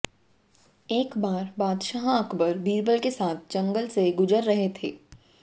एक बार बादशाह अकबर बीरबल के साथ जंगल से गुजर रहे थे